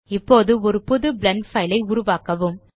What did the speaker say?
இப்போது ஒரு புது பிளெண்ட் பைல் ஐ உருவாக்கவும்